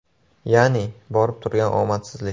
Ya’ni borib turgan omadsizlik.